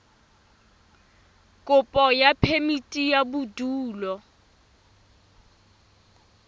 kopo ya phemiti ya bodulo